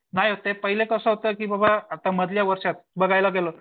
नाही ते पहिलं कसं होतं बाबा आता मधल्या वर्षात बघायला गेलं